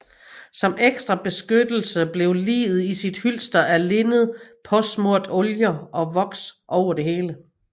Som ekstra beskyttelse blev liget i sit hylster af linned påsmurt oljer og voks over det hele